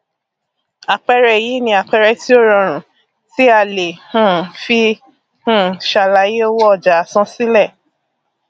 àpẹẹrẹ èyí ni àpẹẹrẹ tí ó rọrùn tí a lè um fi um ṣàlàyé owó ọjà àsansílẹ